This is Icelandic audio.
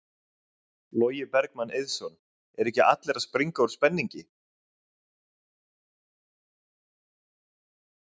Logi Bergmann Eiðsson: Eru ekki allir að springa úr spenningi?